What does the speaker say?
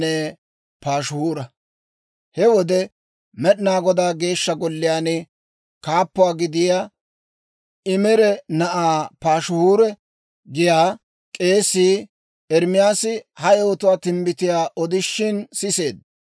He wode Med'inaa Godaa Geeshsha Golliyaan kaappuwaa gidiyaa, Imeera na'aa Paashihuura giyaa k'eesii, Ermaasi ha yewotuu timbbitiyaa odishin siseedda.